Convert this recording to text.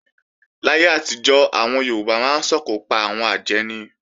Láyé àtijọ́, àwọn Yorùbá máa ń sòkò pa àwọn àjẹ́ ni